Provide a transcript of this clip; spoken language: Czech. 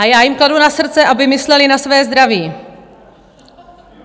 A já jim kladu na srdce, aby mysleli na své zdraví.